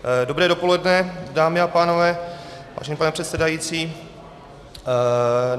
Dobré dopoledne, dámy a pánové, vážený pane předsedající.